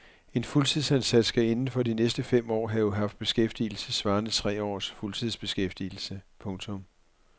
En fuldtidsansat skal inden for de sidste fem år have haft beskæftigelse svarende til tre års fuldtidsbeskæftigelse. punktum